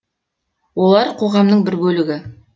олар қоғамның бір бөлігі